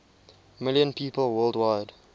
million people worldwide